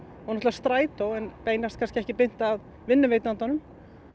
strætó en beinast ekki beint að vinnuveitandanum